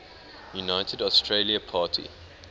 united australia party